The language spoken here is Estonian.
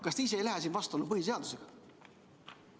Kas te ise ei lähe siin põhiseadusega vastuollu?